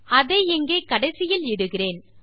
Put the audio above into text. அதை இங்கே கடைசியில் இடுகிறேன்